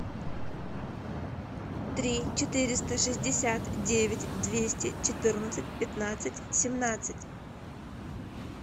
три четыреста шестьдесят девять двести четырнадцать пятнадцать семнадцать